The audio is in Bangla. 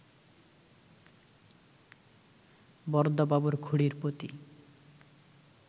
বরদাবাবুর খুড়ীর প্রতি